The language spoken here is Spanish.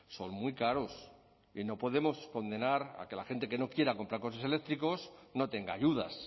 son muy caros y no podemos condenar a que la gente que no quiera comprar coches eléctricos no tenga ayudas